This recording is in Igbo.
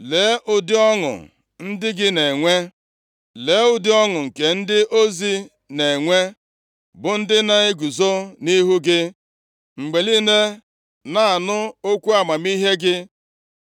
Lee, ụdị ọṅụ ndị gị na-enwe. Lee, ụdị ọṅụ nke ndị ozi na-enwe, bụ ndị na-eguzo nʼihu gị mgbe niile na-anụ okwu amamihe gị.